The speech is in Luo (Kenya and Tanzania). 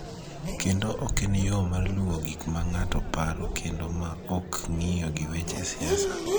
kendo ok en yo mar luwo gik ma ng�ato paro kendo ma ok ng�iyo gi weche siasa.